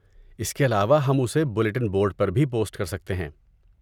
اس کے علاوہ، ہم اسے بلیٹن بورڈ پر بھی پوسٹ کر سکتے ہیں۔